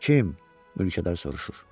Kim, mülkədar soruşur.